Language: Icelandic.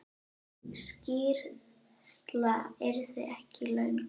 Sú skýrsla yrði ekki löng.